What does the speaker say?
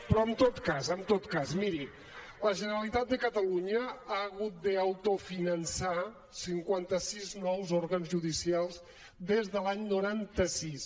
però en tot cas en tot cas miri la generalitat de catalunya ha hagut d’autofinançar cinquanta sis nous òrgans judicials des de l’any noranta sis